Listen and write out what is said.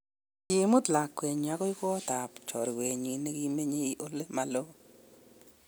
Koimut lakwenyi agoi kot ab chorwenyi negimeche ole ma loo